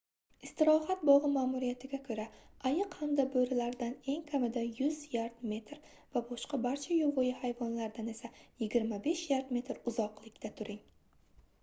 istirohat bog'i ma'muriyatiga ko'ra ayiq hamda bo'rilardan eng kamida 100 yard/metr va boshqa barcha yovvoyi hayvonlardan esa 25 yard/metr uzoqlikda turing!